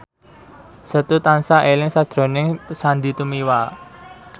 Setu tansah eling sakjroning Sandy Tumiwa